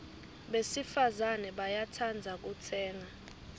besifazane bayatsandza kutsenga